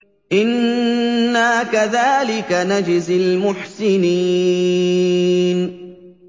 إِنَّا كَذَٰلِكَ نَجْزِي الْمُحْسِنِينَ